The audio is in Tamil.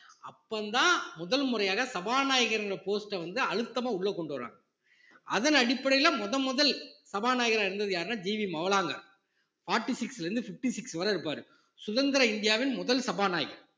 அப்பந்தான் முதல் முறையாக சபாநாயகர்ங்கர post அ வந்து அழுத்தமா உள்ள கொண்டு வர்றாங்க அதன் அடிப்படையில முதல் முதல் சபாநாயகரா இருந்தது யாருன்னா G V Mavalankar forty six ல இருந்து fifty six வரை இருப்பாரு சுதந்திர இந்தியாவின் முதல் சபாநாயகர்